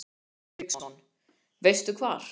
Hafsteinn Hauksson: Veistu hvar?